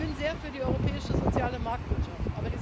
Ich bin sehr für die europäische soziale Marktwirtschaft.